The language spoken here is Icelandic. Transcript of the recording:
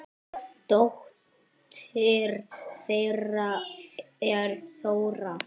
Dóttir þeirra er Þóra.